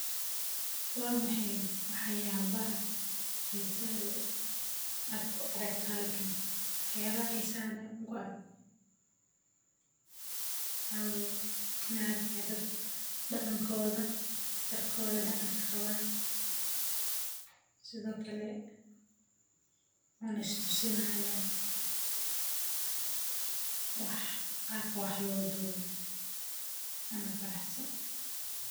Waa maxaye waxyalaha xisaha leh aa ku arkeysa meshan waxaa kuwa qawan darkodha waxe istusinahayan wax ama qabkodha sas waye.